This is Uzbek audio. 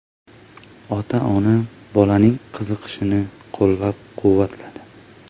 Ota-ona bolaning qiziqishini qo‘llab-quvvatladi.